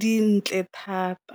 dintle thata.